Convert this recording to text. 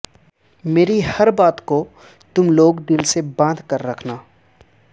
مری ہر بات کو تم لوگ دل سے باندھ کر رکھنا